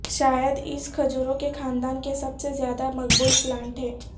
شاید اس کھجوروں کے خاندان کے سب سے زیادہ مقبول پلانٹ ہے